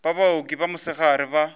ba baoki ba mosegare ba